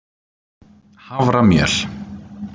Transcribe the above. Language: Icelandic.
haframjöl